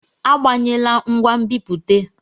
Agbanyela ngwa nbipute!